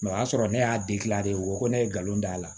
o y'a sɔrɔ ne y'a de o ko ne ye nkalon da